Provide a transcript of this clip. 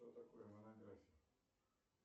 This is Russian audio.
что такое монография